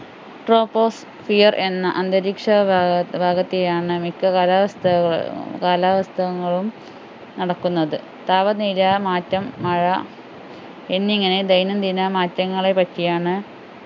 troposphere എന്ന അന്തരീക്ഷ ഭാഗ ഭാഗത്തെയാണ് മിക്ക കാലാവസ്ഥ കാലാവസ്ഥകളും നടക്കുന്നത് താപനില മാറ്റം മഴ എന്നിങ്ങനെ ദൈനംദിന മാറ്റങ്ങളെപ്പറ്റിയാണ്